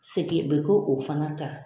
Seki bɛ k'o fana kan.